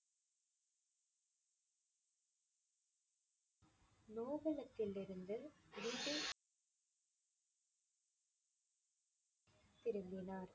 நோபலத்திலிருந்து வீடு திரும்பினார்.